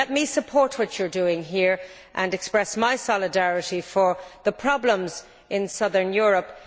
Let me support what you are doing here and express my solidarity for the problems in southern Europe.